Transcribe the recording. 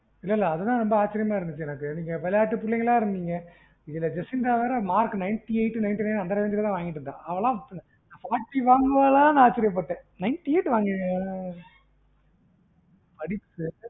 இல்ல இல்ல அதுதான் எனக்கு ஆச்சிரியமா இருந்தது எனக்கு நீங்க விளையாட்டு பிள்ளைங்களா இருந்திங்க இதுல ஜெசிந்தா வேற mark ninety eight ninety nine அந்த range ல தான் வாங்கியிருக்க்காஅவளாம் forty வாங்குவாளான்னு ஆச்சரியப்பட்டன் ninety eight வாங்கியிருக்க்கா ம் அவ படிப்பு